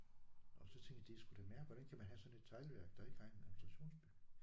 Og så tænkte jeg det er sgu da mærk hvordan kan man have sådan et teglværk der ikke har en administrationsby